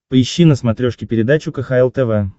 поищи на смотрешке передачу кхл тв